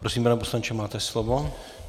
Prosím, pane poslanče, máte slovo.